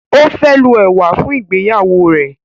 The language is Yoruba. o fẹ lo ewa fún ìgbéyàwó rẹ